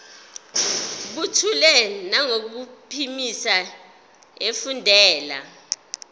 buthule nangokuphimisa efundela